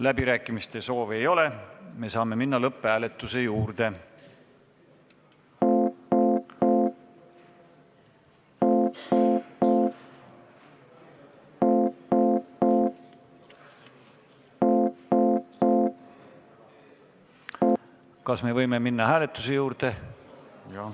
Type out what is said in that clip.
Läbirääkimiste soovi ei ole, me saame minna lõpphääletuse juurde.